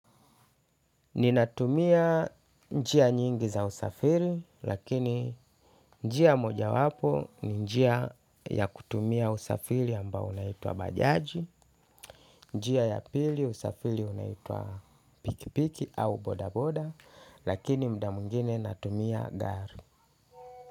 Ninatumia njia nyingi za usafiri lakini njia mojawapo ni njia ya kutumia usafiri ambao unaitwa bajaji. Njia ya pili ya usafiri unaitwa pikipiki au bodaboda lakini mda mwengine natumia gari.